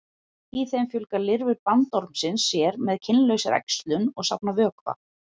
í þeim fjölga lirfur bandormsins sér með kynlausri æxlun og safna vökva